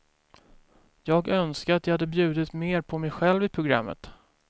Jag önskar att jag hade bjudit mer på mig själv i programmet.